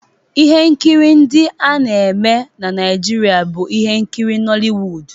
Ihe nkiri ndị a na-eme na Naijiria bụ ihe nkiri Nollywood